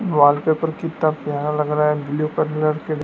wallpaper कितना प्यारा लग रहा है ब्लू कलर के--